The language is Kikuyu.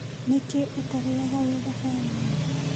Nĩkĩĩ ũtarĩaga wĩ thabarĩ-inĩ